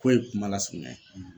K'o ye kuma lasurunya ye